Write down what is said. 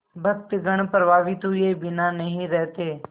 भक्तगण प्रभावित हुए बिना नहीं रहते